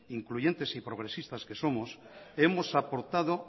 incluyentes y progresistas que somos hemos aportado